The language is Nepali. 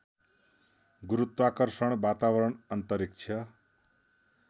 गुरुत्वाकर्षण वातावरण अन्तरिक्ष